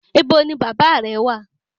Ibo ni Baba re wa?